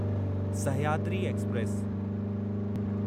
Sahyadri express